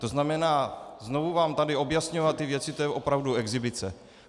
To znamená, znovu vám tady objasňovat ty věci, to je opravdu exhibice.